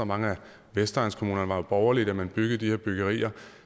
mange af vestegnskommunerne var jo borgerlige da man byggede de her byggerier